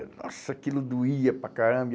Nossa, aquilo doía para caramba.